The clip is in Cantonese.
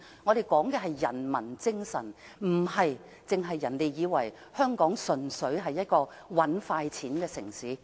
我們講求的是人民精神，而香港亦不是人們眼中純粹是"搵快錢"的城市。